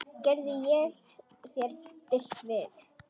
Gerði ég þér bylt við?